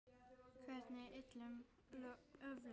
Hvernig illum öflum?